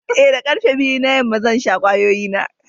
Ee, da karfe biyu na yamma, zan sha kwayoyi na.